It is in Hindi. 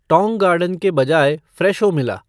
टौंग गार्डन के बजाय फ़्रेशो मिला